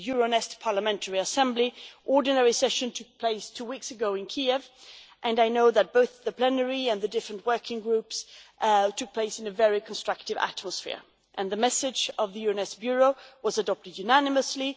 The Euronest Parliamentary Assembly ordinary session took place two weeks ago in Kiev, and I know that both the plenary and the various working groups were conducted in a very constructive atmosphere, and the message of the Euronest bureau was adopted unanimously.